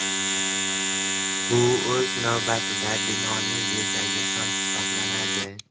Bu o‘z navbatida binoning bezagi ham hisoblanadi.